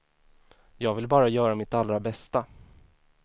Jag vill bara göra mitt allra bästa.